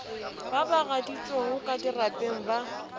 ba bagaditšong ka dirapeng ba